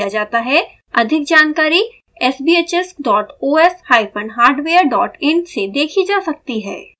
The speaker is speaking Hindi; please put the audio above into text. अधिक जानकारी sbhs dot os hyphen hardware dot in से देखीजा सकती हैं